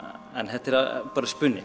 þetta er bara spuni